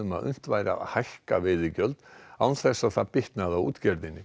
að unnt væri að hækka veiðigjöld án þess að það bitnaði á útgerðinni